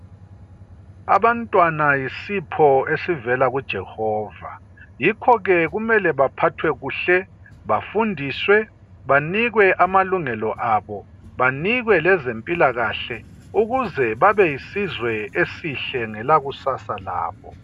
Abantwana yisipho esivevela kuJehova, yikhoke kumele baphathwe kuhle, bafundiswe, banikwe amalungelo abo ,banikwe lezempilakahle ukuze babeyisizwe esihle ngelakusasa labo.